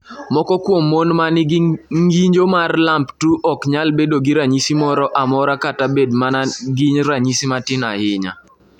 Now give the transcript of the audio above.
"Moko kuom mon ma nigi ng’injo mar LAMP2 ok nyal bedo gi ranyisi moro amora kata bedo mana gi ranyisi matin ahinya."